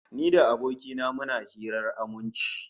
Ni da aboki na muna hirar aminci